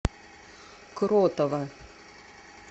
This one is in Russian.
кротова